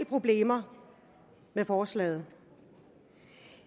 problemer med forslaget